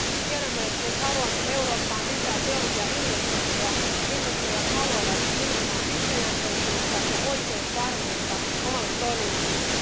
Tiedämme, että jos haluamme Eurooppaan lisää teollisia investointeja, investoijat haluavat nimenomaan pitkäjänteisyyttä ja oikeusvarmuutta omalle toiminnalleen.